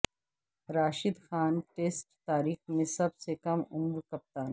Rashid Khan test تاریخ میں سب سے کم عمر کپتان